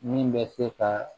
Min bɛ se ka